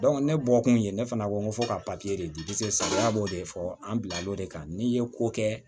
ne bɔkun ye ne fana ko n ko fo ka papiye de di salaya b'o de fɔ an bila l'o de kan n'i ye ko kɛ